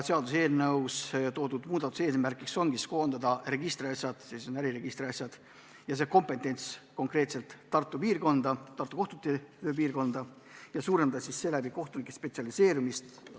Seaduseelnõus toodud muudatuse eesmärk on koondada äriregistri asjad, kogu see kompetents konkreetselt Tartu kohtute piirkonda ja suurendada sel moel kohtunike spetsialiseerumist.